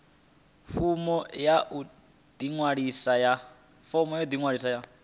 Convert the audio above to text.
fomo ya u ḓiṅwalisa ya